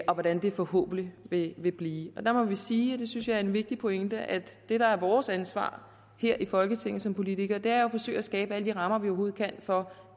og hvordan det forhåbentlig vil vil blive der må vi sige og det synes jeg er en vigtig pointe at det der er vores ansvar her i folketinget som politikere er at forsøge at skabe alle de rammer vi overhovedet kan for